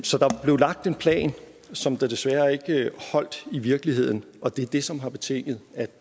så der blev lagt en plan som desværre ikke holdt i virkeligheden og det er det som har betinget